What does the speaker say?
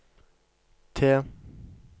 T